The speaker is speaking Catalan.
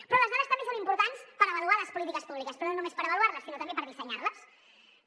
però les dades també són importants per avaluar les polítiques públiques però no només per avaluar les sinó també per dissenyar les